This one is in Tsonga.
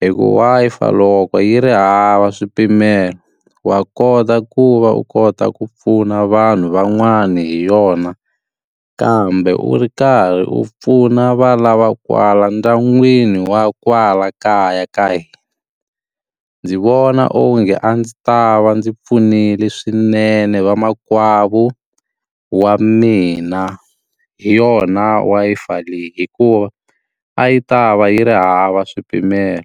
Hikuva Wi-Fi loko yi ri hava swipimelo, wa kota ku va u kota ku pfuna vanhu van'wani hi yona. Kambe u ri karhi u pfuna va lava kwala ndyangwini wa kwala kaya ka hina. Ndzi vona onge a ndzi ta va ndzi pfunile swinene vamakwavo wa mina hi yona Wi-Fi leyi hikuva a yi ta va yi ri hava swipimelo.